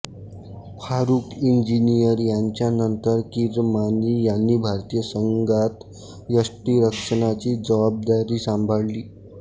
फारूख इंजिनियर यांच्यानंतर किरमाणी यांनी भारतीय संघात यष्टिरक्षणाची जबाबदारी सांभाळली